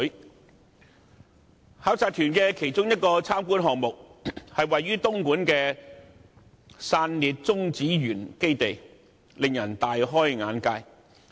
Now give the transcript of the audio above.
作為考察團其中一個參觀項目，位於東莞的散裂中子源基地實在令人大開眼界。